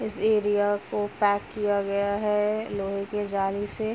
इस एरिया को पैक किया गया है लोहे के जाली से --